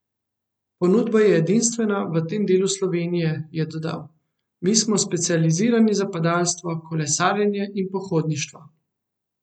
Ponudba je edinstvena v tem delu Slovenije, je dodal: "Mi smo specializirani za padalstvo, kolesarjenje in pohodništvo.